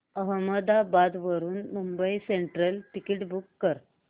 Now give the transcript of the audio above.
अहमदाबाद वरून Mumbai central ticket book कर